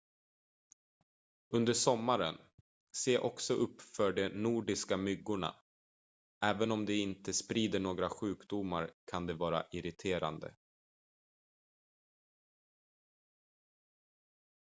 under sommaren se också upp för de nordiska myggorna även om de inte sprider några sjukdomar kan de vara irriterande